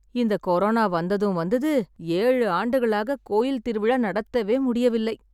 இந்த கொரோனா வந்ததும் வந்தது, ஏழு ஆண்டுகளாக கோயில் திருவிழா நடத்தவே முடியவில்லை.